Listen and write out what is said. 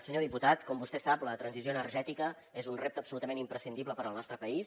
senyor diputat com vostè sap la transició energètica és un repte absolutament imprescindible per al nostre país